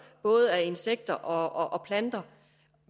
af insekter og planter